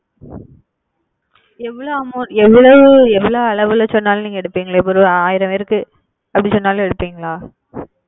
எவ்வள அமோ எவ்வளவு எவ்வளவு அளவுல சொன்னாலும் எடுப்பீங் ஒரு ஆயிரம் பேருக்கு அப்படி சொன்னாலும் எடுப்பீங்களா?